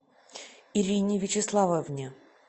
ирине вячеславовне